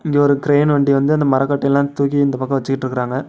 இங்க ஒரு கிரைன் வண்டி வந்து அந்த மரக்கட்ட எல்லாம் தூக்கி இந்தப் பக்கம் வெச்சிட்டுருக்காங்க.